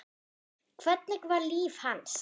Hvernig var líf hans?